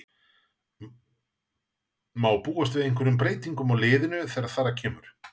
Má búast við einhverjum breytingum á liðinu þegar þar að kemur?